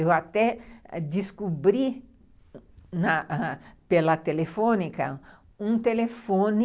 Eu até descobri pela telefônica um telefone